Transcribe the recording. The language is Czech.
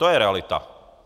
To je realita.